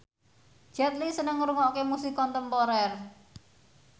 Jet Li seneng ngrungokne musik kontemporer